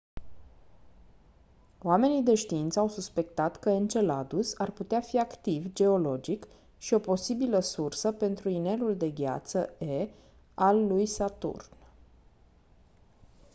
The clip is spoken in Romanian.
oamenii de știință au suspectat că enceladus ar putea fi activ geologic și o posibilă sursă pentru inelul de gheață e al lui saturn